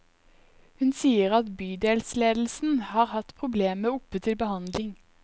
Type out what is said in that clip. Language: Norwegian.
Hun sier at bydelsledelsen har hatt problemet oppe til behandling.